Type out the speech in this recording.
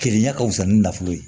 Keleya ɲɛ ka fusa ni nafolo ye